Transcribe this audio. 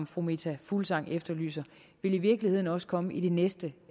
fru meta fuglsang efterlyser vil i virkeligheden også komme i de næste